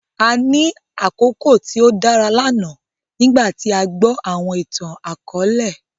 À ni àkoko tio dara lana nigbàti à gbọ awọn ìtan-àkọọlẹ.